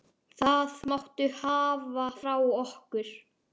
Það máttu hafa frá okkur.